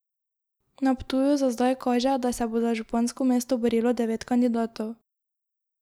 Na Ptuju za zdaj kaže, da se bo za župansko mesto borilo devet kandidatov.